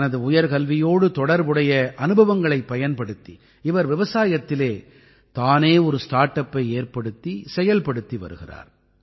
தனது உயர்கல்வியோடு தொடர்புடைய அனுபவங்களைப் பயன்படுத்தி இவர் விவசாயத்திலே தானே ஒரு ஸ்டார் அப்பை ஏற்படுத்தி செயல்படுத்தி வருகிறார்